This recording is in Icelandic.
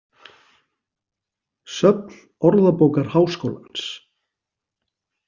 Söfn Orðabókar Háskólans.